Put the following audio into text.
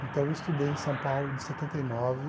Então, eu estudei em São Paulo de setenta e nove